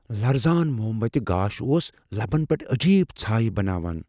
لرزان موم بتہِ گاش اوس لبن پیٹھ عجیب ژھایہ بناوان ۔